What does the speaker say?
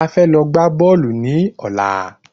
A fẹ́ lọ gbá bọ́ọ̀lù ní ọ̀la